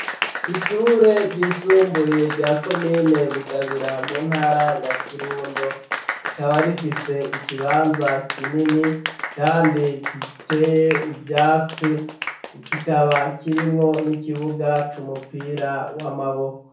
Ishure ryisumbuye rya komine Bugabira mu ntara ya Kirundo ,rikaba rifise ikibanza kinini kandi giteye ivyatsi kikaba kirimwo n'ikibuga c'umupira w'amaboko.